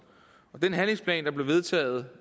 den handlingsplan der blev vedtaget